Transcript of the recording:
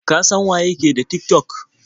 Ka san waye ke da Tik-tok?